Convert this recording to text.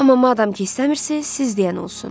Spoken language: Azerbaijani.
Amma madam ki, istəmirsiz, siz deyən olsun.